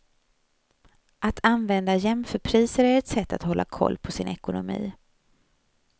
Att använda jämförpriser är ett sätt att hålla koll på sin ekonomi.